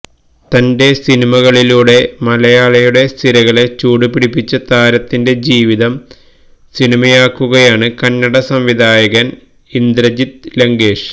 തന്റെ സിനിമകളിലൂടെ മലയാളിയുടെ സിരകളെ ചൂടുപിടിപ്പിച്ച താരത്തിന്റെ ജീവിതം സിനിമയാക്കുകയാണ് കന്നഡ സംവിധായകന് ഇന്ദ്രജിത് ലങ്കേഷ്